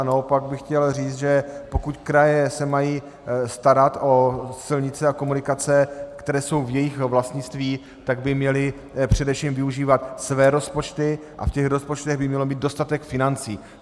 A naopak bych chtěl říct, že pokud kraje se mají starat o silnice a komunikace, které jsou v jejich vlastnictví, tak by měly především využívat své rozpočty a v těch rozpočtech by měl být dostatek financí.